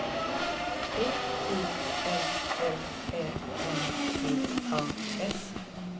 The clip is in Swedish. T I L L Ä M P A S